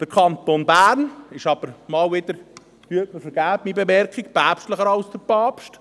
Der Kanton Bern ist aber mal wieder – bitte vergeben Sie mir die Bemerkung – päpstlicher als der Papst;